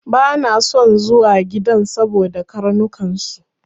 Bana son zuwa gidan saboda karnukan su.